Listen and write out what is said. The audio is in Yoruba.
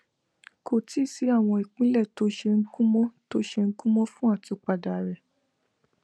kò tíì sí àwọn ìpìlè tó ṣe gúnmó tó ṣe gúnmó fún àtúnpadà rè